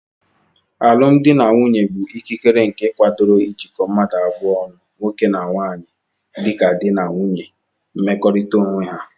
Alụmdi na nwunye bu ikikere nke akwadoro jikọ mmdu abụọ ọnụ( nwoke na nwanyi) dika di na nwunye n'mmekọrita onweha